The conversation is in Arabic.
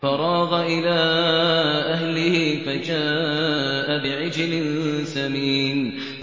فَرَاغَ إِلَىٰ أَهْلِهِ فَجَاءَ بِعِجْلٍ سَمِينٍ